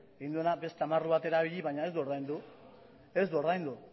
egin duena da beste amarru bat erabili baina ez du ordaindu ez du ordaindu